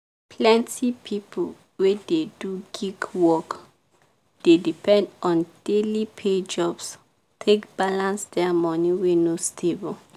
plenty people wey dey do gig work dey depend on daily pay jobs take balance their money wey no stable.